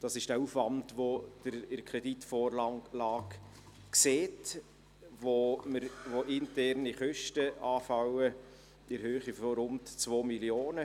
Das ist der Aufwand, den Sie in der Kreditvorlage sehen, wo interne Kosten in der Höhe von rund 2 Mio. Franken anfallen.